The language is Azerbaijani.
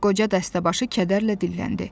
Qoca dəstəbaşı kədərlə dilləndi.